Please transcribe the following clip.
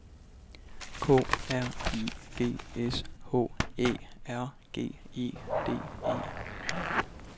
K R I G S H Æ R G E D E